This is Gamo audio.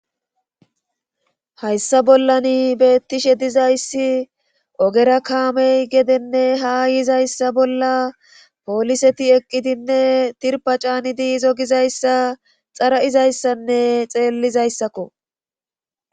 hayssa bollani beettishe dizayssi ogera kaamey gedenne ha yizayssa bolla pooliseti eqqidinne tirpacani diizo gizayssa xara7izayssanne xeellizayssakko